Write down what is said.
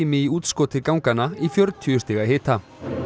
í útskoti ganganna í fjörutíu stiga hita